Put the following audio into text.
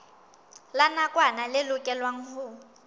la nakwana le lokelwang ho